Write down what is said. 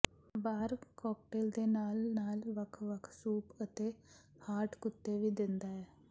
ਬਾਰ cocktail ਦੇ ਨਾਲ ਨਾਲ ਵੱਖ ਵੱਖ ਸੂਪ ਅਤੇ ਹਾਟ ਕੁੱਤੇ ਵੀ ਦਿੰਦਾ ਹੈ